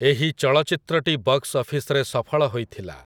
ଏହି ଚଳଚ୍ଚିତ୍ରଟି ବକ୍ସ୍ ଅଫିସ୍‌ରେ ସଫଳ ହୋଇଥିଲା ।